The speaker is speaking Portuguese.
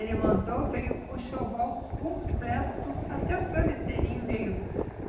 Ele mandou, veio o enxoval completo, até os travesseirinhos veio.